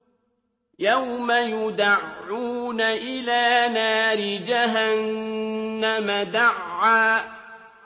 يَوْمَ يُدَعُّونَ إِلَىٰ نَارِ جَهَنَّمَ دَعًّا